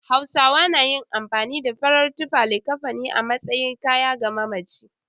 Hausawa na amfani da farar tufa (LIKAFANI) a matsayin kayan ga mamaci.